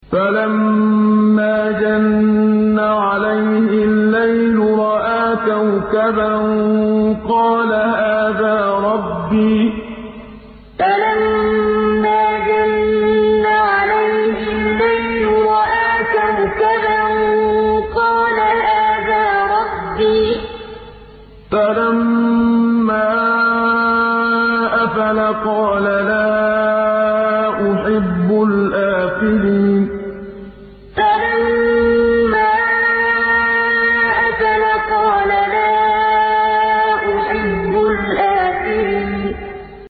فَلَمَّا جَنَّ عَلَيْهِ اللَّيْلُ رَأَىٰ كَوْكَبًا ۖ قَالَ هَٰذَا رَبِّي ۖ فَلَمَّا أَفَلَ قَالَ لَا أُحِبُّ الْآفِلِينَ فَلَمَّا جَنَّ عَلَيْهِ اللَّيْلُ رَأَىٰ كَوْكَبًا ۖ قَالَ هَٰذَا رَبِّي ۖ فَلَمَّا أَفَلَ قَالَ لَا أُحِبُّ الْآفِلِينَ